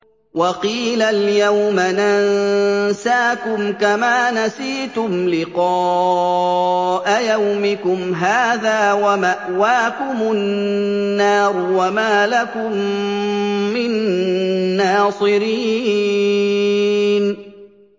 وَقِيلَ الْيَوْمَ نَنسَاكُمْ كَمَا نَسِيتُمْ لِقَاءَ يَوْمِكُمْ هَٰذَا وَمَأْوَاكُمُ النَّارُ وَمَا لَكُم مِّن نَّاصِرِينَ